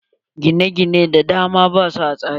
Gina gine da dama basu a tsari.